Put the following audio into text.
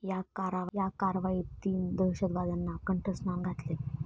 या कारवाईत तीन दहशतवाद्यांना कंठस्नान घातले.